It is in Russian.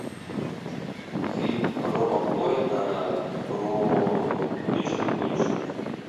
фильм роба коэна про уличных гонщиков